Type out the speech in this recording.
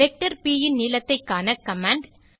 vector b இன் நீளத்தை காண கமாண்ட்